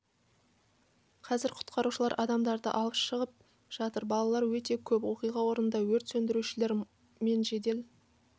қазір құтқарушылар адамдарды алып шығып жатыр балалар өте көп оқиға орнында өрт сөндірушілер мен жедел